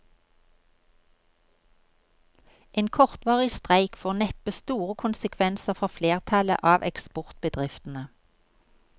En kortvarig streik får neppe store konsekvenser for flertallet av eksportbedriftene.